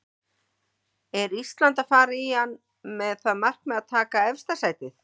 Er Ísland að fara í hann með það markmið að taka efsta sætið?